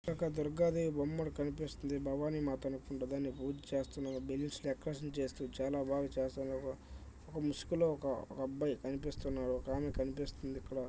ఒక దుర్గాదేవి బొమ్మ మనకు కనిపిస్తుంది భవాని మాత అనుకుంటా దానికి పూజ చేస్తున్నారు చాలా బాగా చేస్తున్నారు ఒక ముసుగులో ఒక అబ్బాయి కనిపిస్తున్నారు ఒకామ కనిపిస్తుంది ఇక్కడ.